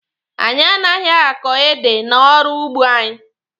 Anyị anaghị ákò édè n'ọrụ ugbo anyị.